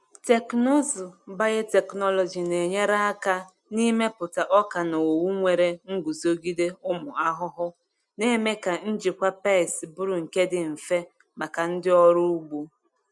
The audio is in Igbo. Teknụzụ biotechnology na-enyere aka n’ịmepụta ọka na owu nwere nguzogide ụmụ ahụhụ, na-eme ka njikwa pests bụrụ nke dị mfe maka ndị ọrụ ugbo.